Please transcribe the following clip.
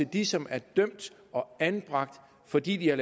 de som er dømt og anbragt fordi de har